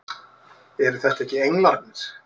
Eru þetta ekki englarnir!